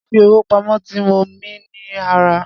Fífi owó pamo ti mó mi ní ara.